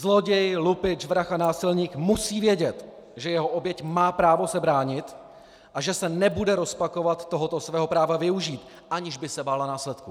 Zloděj, lupič, vrah a násilník musí vědět, že jeho oběť má právo se bránit a že se nebude rozpakovat tohoto svého práva využít, aniž by se bála následků.